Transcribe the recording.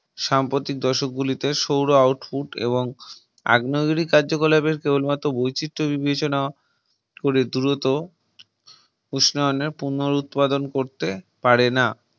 সাম্প্রতিক দশক গুলিতে সৌর Output এবং আগ্নেয়গিরি কার্যকলাপের কেবলমাত্র বৈচিত্র বিবেচনা করে দ্রুত উষ্ণায়নের পুনর উৎপাদন করতে পারে না